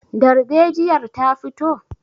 darbejiyar ta fito?